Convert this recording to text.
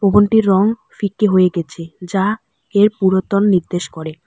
ভবনটির রং ফিকে হয়ে গেছে যা এর পুরাতন নির্দেশ করে।